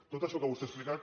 tot això que vostè ha explicat